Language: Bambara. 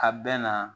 A bɛ na